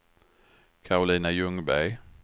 Karolina Ljungberg